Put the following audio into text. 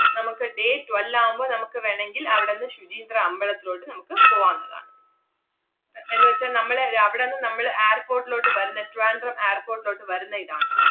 നമ്മക്ക് day twelve ആവുമ്പൊ നമ്മക്ക് വേണെങ്കിൽ അവടന്ന് ശുചീന്ദ്രം അമ്പളത്തിലോട്ട് നമ്മക്ക് പോവാന്നതാണ്. എന്നുവെച്ചാ നമ്മള് രാ~ അവടന്ന് നമ്മള് airport ലോട്ട് വരുന്ന ട്രിവാൻഡ്രം airport ലോട്ട് വരുന്ന ഇതാണ്.